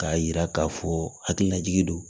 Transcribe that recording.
K'a yira k'a fɔ hakililajigi don